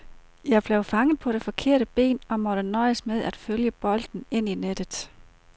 Jeg blev fanget på det forkerte ben og måtte nøjes med at følge bolden ind i nettet.